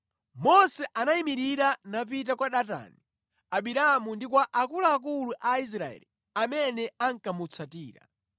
Mose anayimirira napita kwa Datani, Abiramu ndi kwa akuluakulu a Israeli amene ankamutsatira.